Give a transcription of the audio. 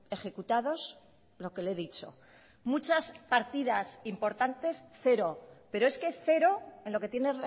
ejecutados lo que le he dicho muchas partidas importantes cero pero es que cero en lo que tiene